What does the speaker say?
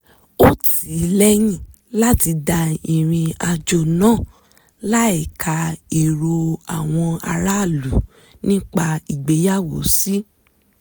ó tí ì lẹ́yìn láti dá rìnrìn àjò náà láìka èrò àwọn aráàlú nípa ìgbéyàwó sí